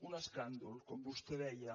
un escàndol com vostè deia